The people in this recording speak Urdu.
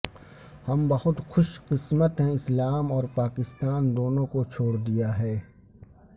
ہم بہت خوش قسمت ہیں اسلام اور پاکستان دونوں کو چھوڑ دیا ہے